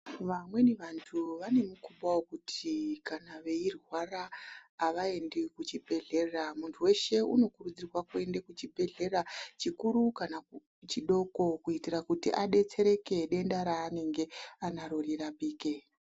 Vamweni vantu vane mukhuba wekuti kana veirwara avaendi kuchibhehlera. Muntu weshe unokurudzirwa kuti kuende kuchibhehlera chikuru kana chidoko kuitira kuti adetsereke denda ranenge anaro rirapike.